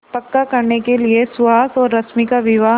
पक्का करने के लिए सुहास और रश्मि का विवाह